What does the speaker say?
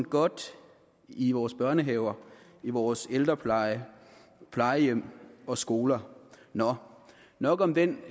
godt i vores børnehaver vores ældrepleje på plejehjem og skoler nå nok om den